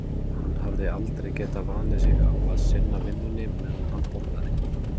Hann hafði aldrei getað vanið sig á að sinna vinnunni meðan hann borðaði.